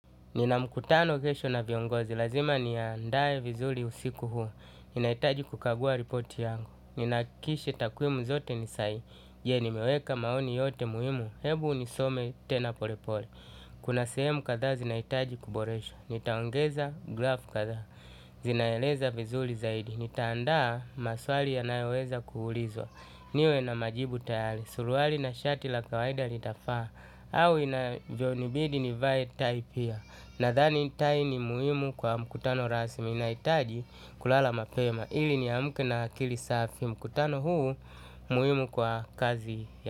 Nina mkutano kesho na viongozi, lazima niandae vizuri usiku huu. Ninaitaji kukagua ripoti yangu, ninahakikisha takwimu zote ni sahihi. Je nimeweka maoni yote muhimu? Hebu nisome tena pole pole, kuna sehemu kadhaa zinahitaji kuboreshwa, nitaongeza grafu kadhaa, zinaeleza vizuri zaidi, nitaandaa maswali yanayoweza kuulizwa, niwe na majibu tayari. Suruali na shati la kawaida litafaa au inavyonibidi nivae tai pia. Nadhani tai ni muhimu kwa mkutano rasmi. Nahitaji kulala mapema ili ni amke na akili safi. Mkutano huu muhimu kwa kazi ya.